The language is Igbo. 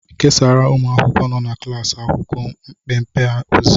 Kesaara ụmụ akwụkwọ nọ na klaasị akwụkwọ mpempe ozi